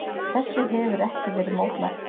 Þessu hefir ekki verið mótmælt.